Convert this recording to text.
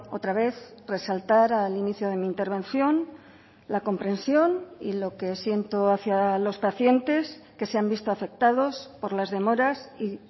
otra vez resaltar al inicio de mi intervención la comprensión y lo que siento hacia los pacientes que se han visto afectados por las demoras y